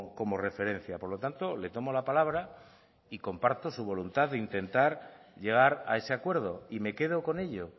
como referencia por lo tanto le tomo la palabra y comparto su voluntad de intentar llegar a ese acuerdo y me quedo con ello